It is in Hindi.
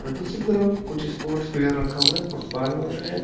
और दूसरी तरफ कुछ स्पोर्ट्स वियर रखा हुआ हैं। फुटबॉल वगैरह है।